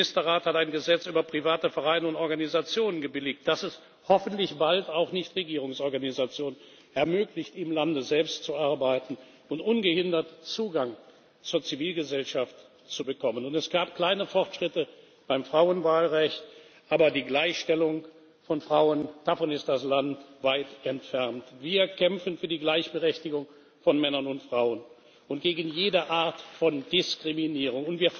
Der Ministerrat hat ein Gesetz über private Vereine und Organisationen gebilligt, das es hoffentlich bald auch Nichtregierungsorganisationen ermöglicht, im Lande selbst zu arbeiten und ungehindert Zugang zur Zivilgesellschaft zu bekommen. Es gab kleine Fortschritte beim Frauenwahlrecht, aber von der Gleichstellung von Frauen ist das Land weit entfernt. Wir kämpfen für die Gleichberechtigung von Männern und Frauen und gegen jede Art von Diskriminierung.